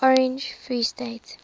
orange free state